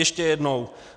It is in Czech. Ještě jednou.